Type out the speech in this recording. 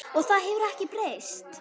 Og það hefur ekkert breyst.